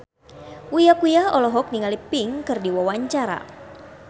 Uya Kuya olohok ningali Pink keur diwawancara